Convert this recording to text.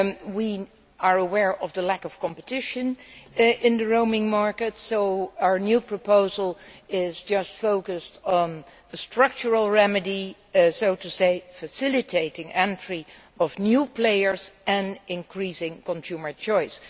We are aware of the lack of competition in the roaming market, so our new proposal is focused on a structural remedy facilitating entry of new players and increasing consumer choice.